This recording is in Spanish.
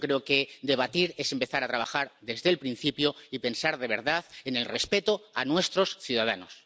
Yo creo que debatir es empezar a trabajar desde el principio y pensar de verdad en el respeto a nuestros ciudadanos.